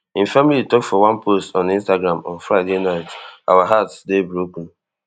im family tok for one post on instagram on friday night our hearts dey broken